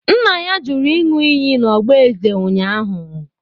Nna ya jụrụ ịn̄ụ iyi n'ọgba eze ụnyahụ.